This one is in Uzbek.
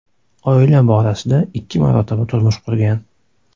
Oila borasida ikki marotaba turmush qurgan.